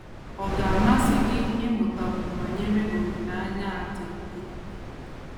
Ọ̀ ga - amasị gị ịmụtakwu banyere olileanya a dị ebube?